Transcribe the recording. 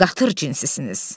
Qatır cinsisiniz.